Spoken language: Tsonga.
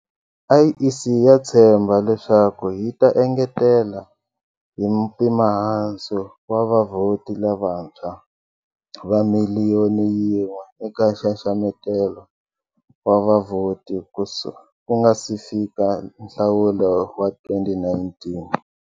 IEC ya tshemba leswaku yi ta engetela hi mpimohansi vavhoti lavantshwa va miliyoni yin'we eka nxaxameto wa vavhoti ku nga si fika nhlawulo wa 2019.